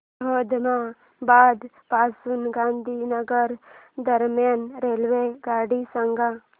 अहमदाबाद पासून गांधीनगर दरम्यान रेल्वेगाडी सांगा